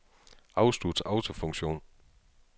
Afslut autofunktion.